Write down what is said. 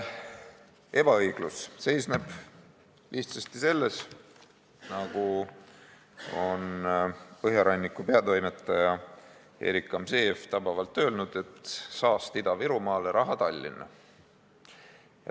Ebaõiglus seisneb lihtsasti öeldes selles, nagu Põhjaranniku peatoimetaja Erik Gamzejev on tabavalt öelnud: saast Ida-Virumaale, raha Tallinna.